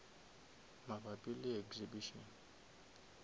mabapi le di exhibition